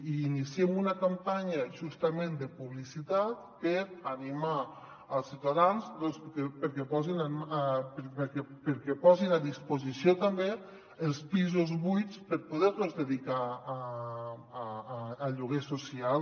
i iniciem una campanya justament de publicitat per animar els ciutadans perquè posin a disposició també els pisos buits per poder los dedicar a lloguer social